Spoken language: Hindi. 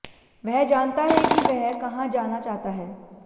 वह जानता है कि वह कहां जाना चाहता है